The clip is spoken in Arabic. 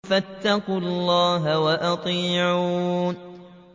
فَاتَّقُوا اللَّهَ وَأَطِيعُونِ